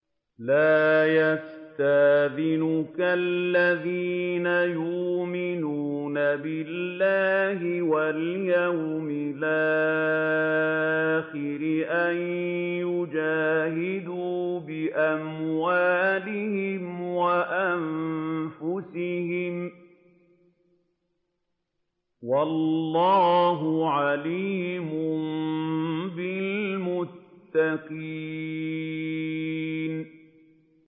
لَا يَسْتَأْذِنُكَ الَّذِينَ يُؤْمِنُونَ بِاللَّهِ وَالْيَوْمِ الْآخِرِ أَن يُجَاهِدُوا بِأَمْوَالِهِمْ وَأَنفُسِهِمْ ۗ وَاللَّهُ عَلِيمٌ بِالْمُتَّقِينَ